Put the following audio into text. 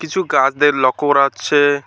কিছু গাছদের লক্ষ্য করা যাচ্ছে।